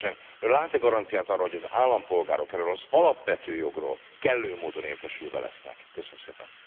Nevezetesen lát e garanciát arra, hogy az állampolgárok erről az alapvető jogról kellő módon értesülve lesznek? Köszönöm szépen.